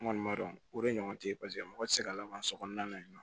N kɔni b'a dɔn o de ɲɔgɔn tɛ ye paseke mɔgɔ ti se ka lafa kɔnɔna na